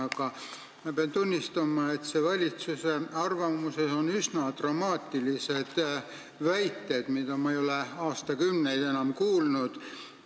Aga ma pean tunnistama, et selles valitsuse arvamuses on üsna dramaatilised väited, mida ma ei ole enam aastakümneid kuulnud.